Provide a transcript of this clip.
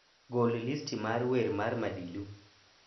Gol listi mar wer mar madilu